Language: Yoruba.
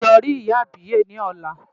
Ṣé wàá lọ rí ìyá àbíyè ni ọ̀la.